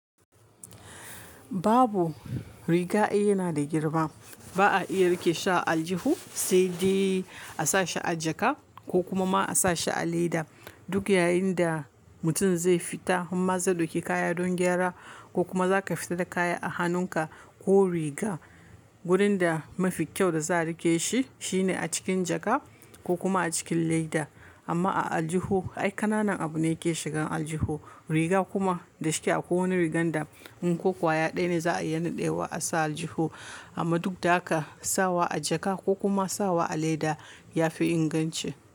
Babu, riga ɗaya yana da girma. Ba a iya riƙe shi a aljihu sai dai a sa shi a jaka ko kuma ma a sa shi a leda. Duk yayin da mutum zai fita amma zai ɗauki kaya don gyara ko kuma za ka fita da kaya a hannunka ko riga, wurin da mafi kyau da za a riƙe shi shine a cikin jaka ko kuma a cikin leda. Amma a aljihu, ai ƙananan abu ne ke shigan aljihu. Riga kuma da shike a kowane rigar da mun kuwa yaɗa ne za a yanar dewa a sa aljihu. Amma duk da haka sawa a jaka ko kuma sawa a leda ya fi inganci.